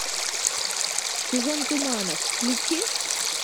сезон туманов включи